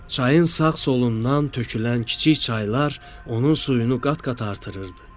Çayın sağ solundan tökülən kiçik çaylar onun suyunu qat-qat artırırdı.